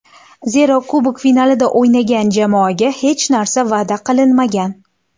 Zero, kubok finalida o‘ynagan jamoaga hech narsa va’da qilinmagan.